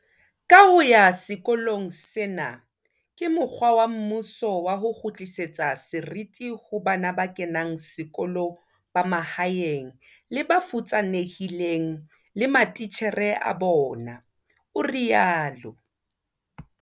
Ka ho ya sekolong sena ke mokgwa wa mmuso wa ho kgutlisetsa seriti ho bana ba kenang sekolo ba mahaeng le ba futsanehileng le matitjhere a bona, o rialo.